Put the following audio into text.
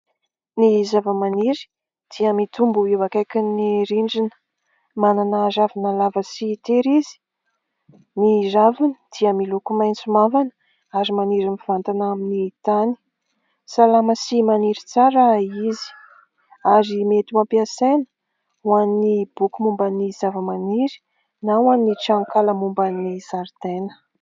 Ny zavamaniry dia mitombo eo akaikin'ny rindrina. Manana ravina lava sy tery izy. Ny raviny dia miloko maitso mavana ary maniry mivantana amin'ny tany. Salama sy maniry tsara izy. Ary mety ho ampiasaina ho an'ny boky momban'ny zavamaniry; na ho an'ny tranokala momban'ny zaridaina.